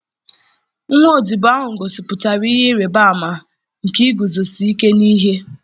nwa odibo ahụ gosipụtara ihe ịrịba ama nke iguzosi ike n'ihe.